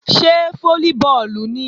Ṣé fólíbọọ̀lù nìí?